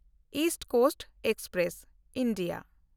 East coast express (India)